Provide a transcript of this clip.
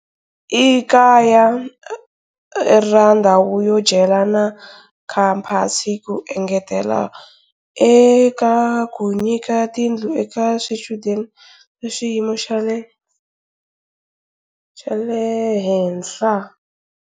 I kaya ra ndhawu yo dyela na khamphasi ku engetela eka ku nyika tindlu eka swichudeni swa xiyimo xa le henhla.